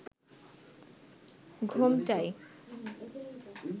ঘোমটায়